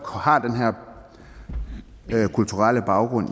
har den her kulturelle baggrund